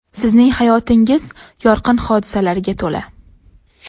Sizning hayotingiz yorqin hodisalarga to‘la.